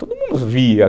Todo mundo via.